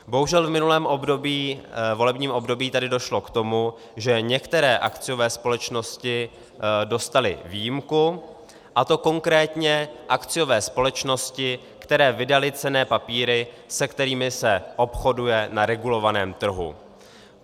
Bohužel v minulém volebním období tady došlo k tomu, že některé akciové společnosti dostaly výjimku, a to konkrétně akciové společnosti, které vydaly cenné papíry, se kterými se obchoduje na regulovaném trhu.